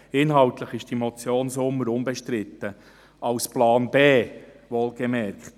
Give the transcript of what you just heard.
Inhaltlich ist die Motion Sommer unbestritten, als Plan B, wohlbemerkt.